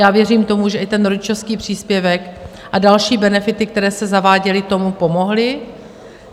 Já věřím tomu, že i ten rodičovský příspěvek a další benefity, které se zaváděly, tomu pomohly.